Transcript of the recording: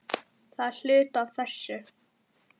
Það er hluti af þessu.